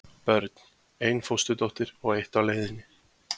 Börn: Ein fósturdóttir og eitt á leiðinni.